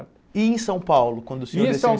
E em São Paulo, quando o senhor des E em São